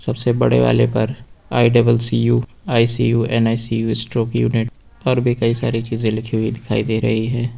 सबसे बड़े वाले पर I double C U ICU NICU stroke unit और भी कई सारी चीजें लिखी हुई दिखाई दे रही है।